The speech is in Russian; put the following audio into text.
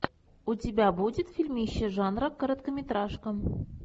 у тебя будет фильмище жанра короткометражка